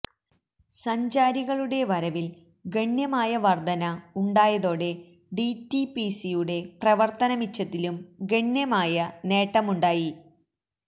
സഞ്ചാരികളുടെ വരവില് ഗണ്യമായ വര്ദ്ധന ഉണ്ടായതോടെ ഡിറ്റിപിസിയുടെ പ്രവര്ത്തന മിച്ചത്തിലും ഗണ്യമായ നേട്ടമുണ്ടായി